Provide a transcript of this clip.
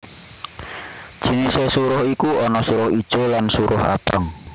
Jinisé suruh iku ana suruh ijo lan suruh abang